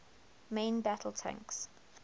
main battle tanks